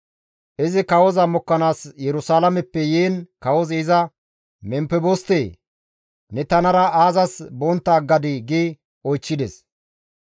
Izi kawoza mokkanaas Yerusalaameppe yiin kawozi iza, «Memfeboste, ne tanara aazas bontta aggadii?» gi oychchides.